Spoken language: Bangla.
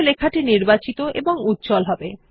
এতে লেখাটি নির্বাচিত এবং উজ্জ্বল হবে